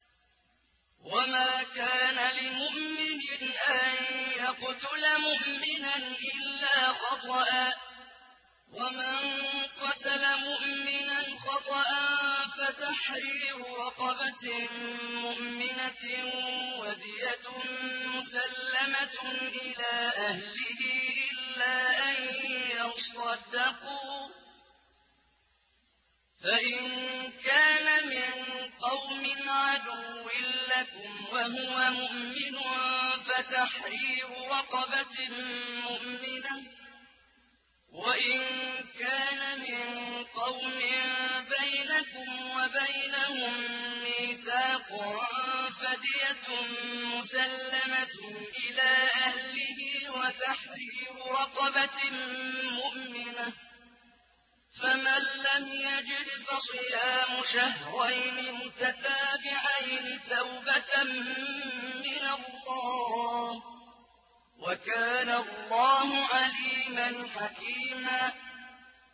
وَمَا كَانَ لِمُؤْمِنٍ أَن يَقْتُلَ مُؤْمِنًا إِلَّا خَطَأً ۚ وَمَن قَتَلَ مُؤْمِنًا خَطَأً فَتَحْرِيرُ رَقَبَةٍ مُّؤْمِنَةٍ وَدِيَةٌ مُّسَلَّمَةٌ إِلَىٰ أَهْلِهِ إِلَّا أَن يَصَّدَّقُوا ۚ فَإِن كَانَ مِن قَوْمٍ عَدُوٍّ لَّكُمْ وَهُوَ مُؤْمِنٌ فَتَحْرِيرُ رَقَبَةٍ مُّؤْمِنَةٍ ۖ وَإِن كَانَ مِن قَوْمٍ بَيْنَكُمْ وَبَيْنَهُم مِّيثَاقٌ فَدِيَةٌ مُّسَلَّمَةٌ إِلَىٰ أَهْلِهِ وَتَحْرِيرُ رَقَبَةٍ مُّؤْمِنَةٍ ۖ فَمَن لَّمْ يَجِدْ فَصِيَامُ شَهْرَيْنِ مُتَتَابِعَيْنِ تَوْبَةً مِّنَ اللَّهِ ۗ وَكَانَ اللَّهُ عَلِيمًا حَكِيمًا